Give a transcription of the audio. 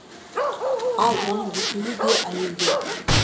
ал оның екеуі де әйелде